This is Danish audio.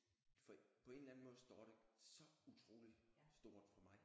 For på en eller anden måde står det så utroligt stort for mig